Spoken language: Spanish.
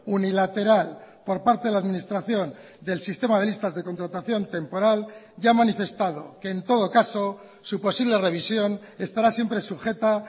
unilateral por parte de la administración del sistema de listas de contratación temporal y ha manifestado que en todo caso su posible revisión estará siempre sujeta